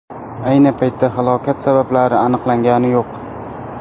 Ayni paytda halokat sabablari aniqlangani yo‘q.